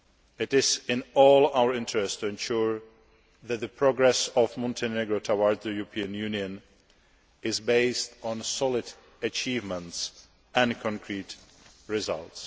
It is in all our interests to ensure that the progress of Montenegro towards the European Union is based on solid achievements and concrete results.